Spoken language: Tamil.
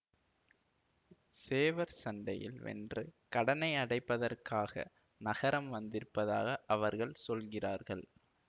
சேவற்சண்டையில் வென்று கடனை அடைப்பதற்காக நகரம் வந்திருப்பதாக அவர்கள் சொல்லுகிறார்கள்